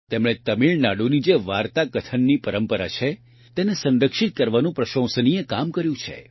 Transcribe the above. તેમણે તમિળનાડુની જે વાર્તાકથનની પરંપરા છે તેને સંરક્ષિત કરવાનું પ્રશંસનીય કામ કર્યું છે